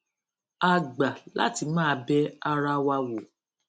a gbà láti máa bẹ ara wa wò